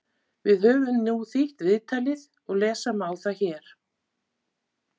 Við höfum nú þýtt viðtalið og lesa má það hér: